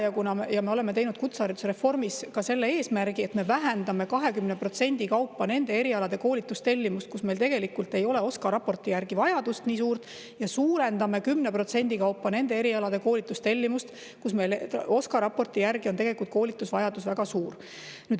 Me oleme kutsehariduse reformis ka selle eesmärgi, et me vähendame 20% kaupa nende erialade koolitustellimust, kus meil OSKA raporti järgi tegelikult ei ole nii suurt vajadust, ja suurendame 10% kaupa nende erialade koolitustellimust, kus OSKA raporti järgi on koolitusvajadus väga suur.